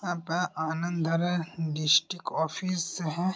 यहाँ परआनंद जिला कार्यालय है |